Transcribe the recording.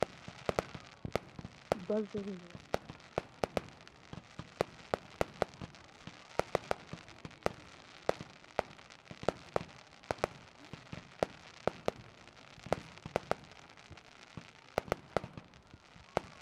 bazzo heeran daro maatay mokki erena gishshaw lo''o carkkuwaa demmanaage keehippe metiyaaba gidishin qassi uyyiyo haattaykka eessuwan beettenanne uyyanawukka mal''ena.